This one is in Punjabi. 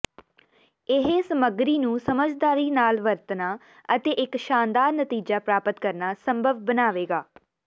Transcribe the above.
ਇਹ ਸਮੱਗਰੀ ਨੂੰ ਸਮਝਦਾਰੀ ਨਾਲ ਵਰਤਣਾ ਅਤੇ ਇੱਕ ਸ਼ਾਨਦਾਰ ਨਤੀਜਾ ਪ੍ਰਾਪਤ ਕਰਨਾ ਸੰਭਵ ਬਣਾਵੇਗਾ